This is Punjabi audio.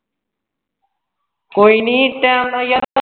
ਕੋਈ ਨੀ time ਨਾਲ ਯਾਰ